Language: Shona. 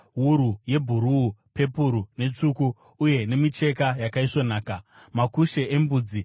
wuru yebhuruu, pepuru netsvuku uye nemicheka yakaisvonaka; makushe embudzi;